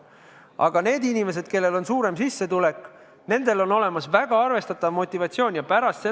Aga nendel inimestel, kellel on suurem sissetulek, on väga arvestatav motivatsioon koguda raha teise sambasse.